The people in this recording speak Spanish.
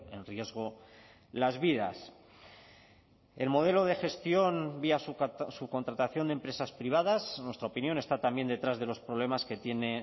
en riesgo las vidas el modelo de gestión vía subcontratación de empresas privadas en nuestra opinión está también detrás de los problemas que tiene